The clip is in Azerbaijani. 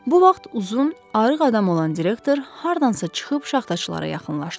Bu vaxt uzun, arıq adam olan direktor hardansa çıxıb şaxtaçılara yaxınlaşdı.